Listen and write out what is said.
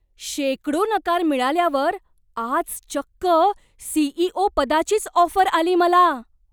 शेकडो नकार मिळाल्यावर आज चक्क सी.ई.ओ. पदाचीच ऑफर आली मला!